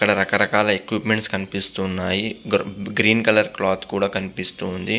రక రకాల ఎక్వింమెంట్స్ కనిపిస్తూ ఉన్నాయి. గ్రీన్ కలర్ క్లాత్ కూడ కనిపిస్తుంది.